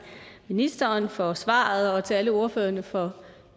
ministeren for svaret og til alle ordførerne for